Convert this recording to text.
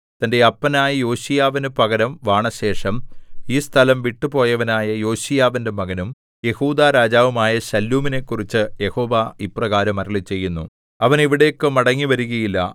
തന്റെ അപ്പനായ യോശീയാവിനു പകരം വാണശേഷം ഈ സ്ഥലം വിട്ടുപോയവനായ യോശീയാവിന്റെ മകനും യെഹൂദാരാജാവുമായ ശല്ലൂമിനെക്കുറിച്ച് യഹോവ ഇപ്രകാരം അരുളിച്ചെയ്യുന്നു അവൻ ഇവിടേക്ക് മടങ്ങിവരുകയില്ല